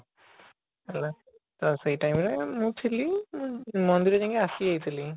ତ ସେଇ time ରେ ମୁଁ ଥିଲି ମୁଁ ମନ୍ଦିର ଯାଇକି ଆସି ଯାଇଥିଲି